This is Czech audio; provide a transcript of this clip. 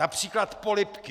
Například polibky!